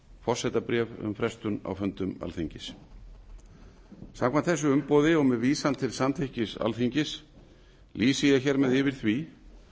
forsetabréf um frestun á fundum alþingis samkvæmt þessu umboði og með vísun til samþykkis alþingis lýsi ég yfir því að